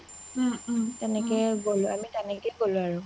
আমি তেনেকেই গ’লো আমি তেনেকেই গ’লো আৰু